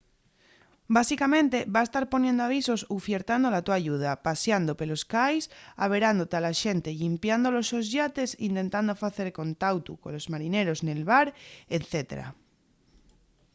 básicamente vas tar poniendo avisos ufiertando la to ayuda pasiando pelos cais averándote a la xente llimpiando los sos yates intentando facer contautu colos marineros nel bar etc